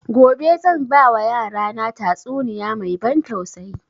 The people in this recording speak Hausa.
Gobe zan ba wa yara na tatsuniya mai ban tausayi